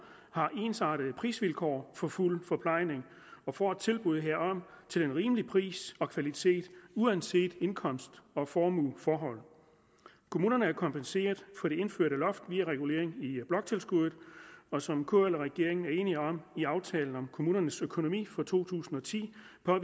har ensartede prisvilkår for fuld forplejning og får et tilbud herom til en rimelig pris og kvalitet uanset indkomst og formueforhold kommunerne er kompenseret for det indførte loft via regulering af bloktilskuddet og som kl og regeringen er enige om i aftalen om kommunernes økonomi for to tusind og ti